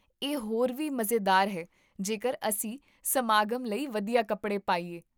ਇਹ ਹੋਰ ਵੀ ਮਜ਼ੇਦਾਰ ਹੈ ਜੇਕਰ ਅਸੀਂ ਸਮਾਗਮ ਲਈ ਵਧੀਆ ਕੱਪੜੇ ਪਾਈਏ